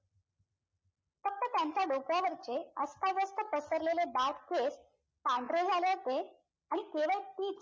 फक्त त्यांच्या डोक्यावरचे अस्ताव्यस्त पसरलेले दाट केस पांढरे झाले होते आणि केवळ तीच